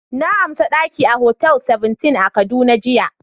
Na amsa daki a Hotel Seventeen a kaduna jiya.